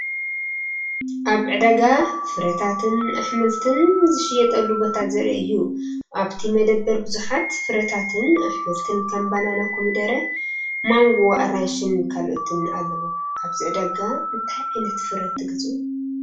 ኣብ ዕዳጋ ፍረታትን ኣሕምልትን ዝሽየጠሉ ቦታ ዘርኢ እዩ። ኣብቲ መደበር ብዙሓት ፍረታትን ኣሕምልትን ከም ባናና፡ ኮሚደረ፡ ማንጎ፡ ኣራንሺን ካልኦትን ኣለዉ። ኣብዚ ዕዳጋ እንታይ ዓይነት ፍረ ትገዝኡ?